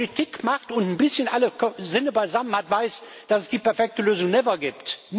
Wer Politik macht und ein bisschen alle Sinne beisammen hat, weiß, dass es die perfekte Lösung never gibt.